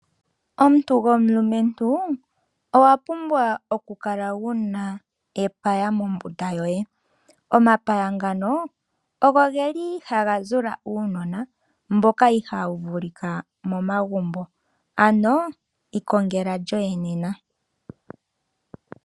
Omuntu gomulumentu owa pumbwa okukala wuna epaya mombunda yoye. Omapaya ngano ogo geli haga zula uunona mboka ihaawu vulika momagumbo. Ano ikongela lyoye nena.